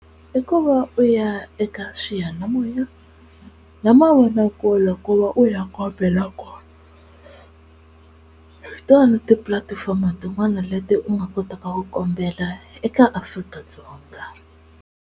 I ku va u ya eka xiyanimoya na mavonakule ku va u ya kombela kona hi tona tipulatifomo tin'wana leti u nga kotaka ku kombela eka Afrika-Dzonga.